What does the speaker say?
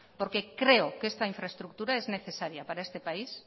porque creo que esta infraestructura es necesaria para este país